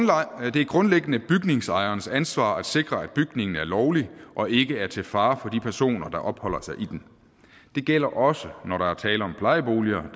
det er grundlæggende bygningsejerens ansvar at sikre at bygningen er lovlig og ikke er til fare for de personer der opholder sig i den det gælder også når der er tale om plejeboliger